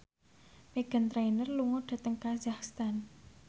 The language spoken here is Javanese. Meghan Trainor lunga dhateng kazakhstan